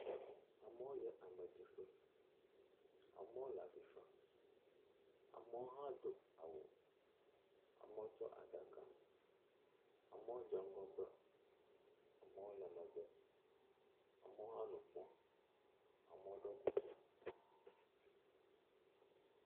Amewo yie ameɖiƒe, ame le avi fa, ame ɖewo hã do awu, ame wo tsɔ aɖaka, amewo dze ŋgɔgbe, amewo le megbe, amewo hã nu kpɔm, amewo ɖɔ kuku.